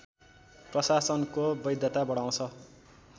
प्रशासनको वैधता बढाउँछ